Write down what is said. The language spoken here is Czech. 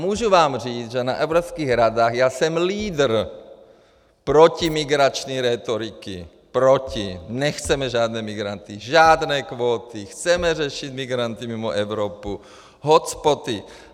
Můžu vám říct, že na Evropských radách já jsem lídr protimigrační rétoriky, proti, nechceme žádné migranty, žádné kvóty, chceme řešit migranty mimo Evropu, hotspoty.